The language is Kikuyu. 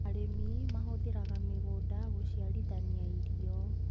Arĩmi mahũthĩraga mĩgũnda gũciarithania irio.